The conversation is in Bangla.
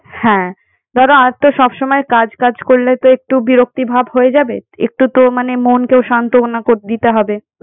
হ্যাঁ। ধরো আর তো সব সময় কাজ কাজ করলে তো একটু বিরক্তি ভাব হয়ে যাবে একটু তো মানে মনকেও সান্ত্বনা কর~ দিতে হবে।